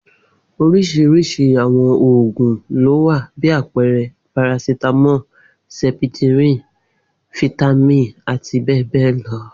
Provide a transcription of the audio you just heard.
Orísirisi àwọn òògun lówa bi àpẹẹrẹ parasítámọ, sẹpitirin, fítámìn àti bẹẹ bẹẹ lọ.